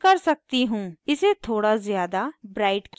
इसे थोड़ा ज़्यादा ब्राइट किया जाना है